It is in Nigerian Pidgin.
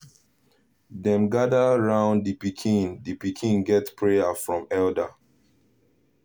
dem gather round the pikin the pikin get prayer from elder